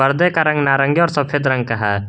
अंदर का रंग नारंगी और सफेद रंग का है।